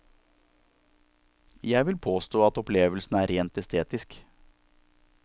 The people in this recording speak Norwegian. Jeg vil påstå at opplevelsen er rent estetisk.